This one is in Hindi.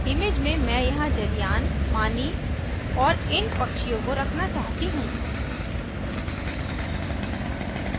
image में मैं यहाँ जलयान पानी और इन पक्षियों को रखना चाहती हूँ